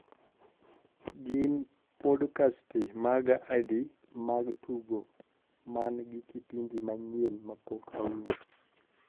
gin podkasti maga adi mag tugo man gi kipindi manyien mapok awinjo